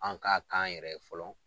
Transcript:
An k'a k'an yɛrɛ ye fɔlɔ